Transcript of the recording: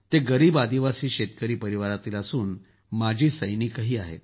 ते गरीब आदिवासी शेतकरी परिवारातील असून माजी सैनिकही आहेत